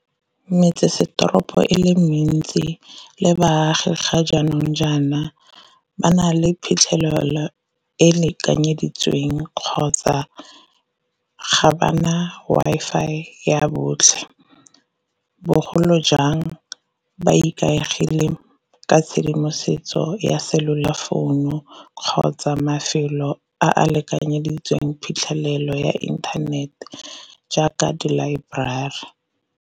Metsesetoropo e le mentsi le baagi ga jaanong jaana ba na le phitlhelelo e lekanyeditsweng kgotsa ga ba na Wi-Fi ya botlhe, bogolo jang ba ikaegile ka tshedimosetso ya cellular founu kgotsa mafelo a a lekanyeditsweng phitlhelelo ya inthanete jaaka di-library.